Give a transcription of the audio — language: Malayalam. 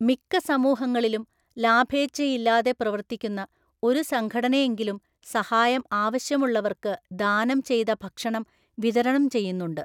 മിക്ക സമൂഹങ്ങളിലും, ലാഭേച്ഛയില്ലാതെ പ്രവർത്തിക്കുന്ന ഒരു സംഘടനയെങ്കിലും സഹായം ആവശ്യമുള്ളവർക്ക് ദാനം ചെയ്ത ഭക്ഷണം വിതരണം ചെയ്യുന്നുണ്ട്.